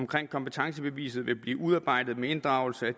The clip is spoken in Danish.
kompetencebeviset vil blive udarbejdet med inddragelse af